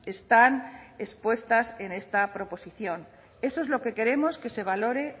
están expuestas en esta proposición eso es lo que queremos que se valore